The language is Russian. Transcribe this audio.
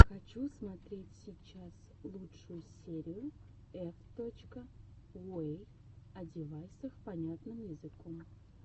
хочу смотреть сейчас лучшую серию эф точка йуэй о девайсах понятным языком